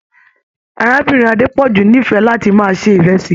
Arábìnrin Adepoju n'ifẹ láti máa ṣe ìrẹsì.